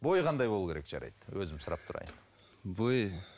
бойы қандай болуы керек жарайды өзім сұрап тұрайын бойы